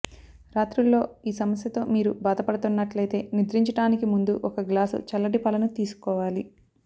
రాత్రుల్లో ఈ సమస్యతో మీరు బాధపడుతున్నట్లైతే నిద్రించడానికి ముందు ఒక గ్లాసు చల్లటి పాలను తీసుకోవాలి